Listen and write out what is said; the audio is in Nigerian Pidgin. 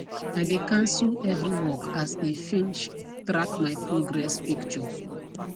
i de cancel every work as e finsh track my progress picture